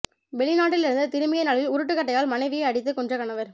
வெளிநாட்டிலிருந்து திரும்பிய நாளில் உருட்டு கட்டையால் மனைவியை அடித்து கொன்ற கணவர்